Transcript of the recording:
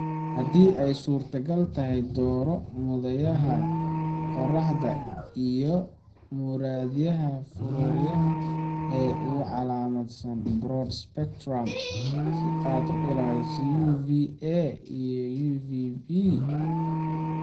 Haddii ay suurtagal tahay, dooro muraayadaha qorraxda iyo muraayadaha faruuryaha ee ku calaamadsan "broad spectrum" (si aad uga ilaaliso UVA iyo UVB fallaadhaha).